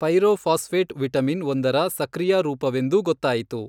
Pyrophosphate vitamin ಒಂದರ ಸಕ್ರಿಯಾ ರೂಪವೆಂದೂ ಗೊತ್ತಾಯಿತು.